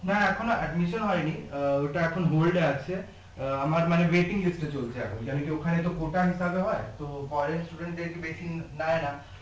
না এখনো admission হয় নি আহ ওটা এখন hold আছে আহ আমার মানে waiting list এ চলছে এখন জানি যে ওখানে তো কোটা হিসাবে হয় তো foreign student দের বেশি নেয় না